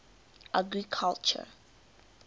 agriculture